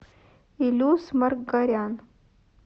илюс маргарян